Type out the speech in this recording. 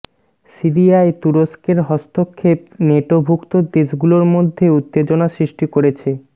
সিরিয়ায় তুরস্কের হস্তক্ষেপ নেটোভূক্ত দেশগুলোর মধ্যে উত্তেজনা সৃষ্টি করেছে